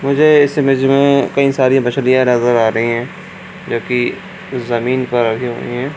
मुझे इस इमेज में कई सारी मछलियां नजर आ रही है जो कि जमीन पर रखी हुई है।